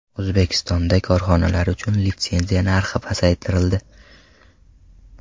O‘zbekistonda korxonalar uchun litsenziya narxi pasaytirildi.